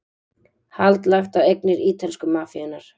Hald lagt á eignir ítölsku mafíunnar